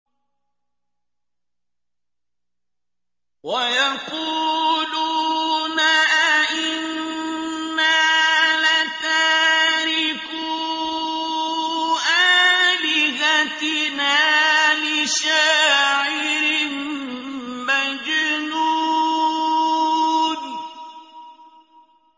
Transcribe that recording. وَيَقُولُونَ أَئِنَّا لَتَارِكُو آلِهَتِنَا لِشَاعِرٍ مَّجْنُونٍ